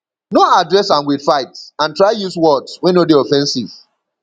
no address am with fight and try use words wey no de offensive